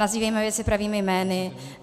Nazývejme věci pravými jmény.